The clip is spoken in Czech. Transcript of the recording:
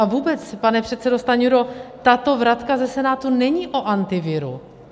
A vůbec, pane předsedo Stanjuro, tato vratka ze Senátu není o Antiviru.